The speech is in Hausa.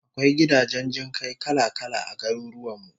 Akwai gidajen jin kai kala-kala a garurwan mu